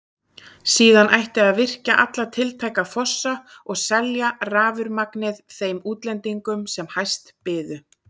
Síðan ætti að virkja alla tiltæka fossa og selja rafurmagnið þeim útlendingum sem hæst byðu.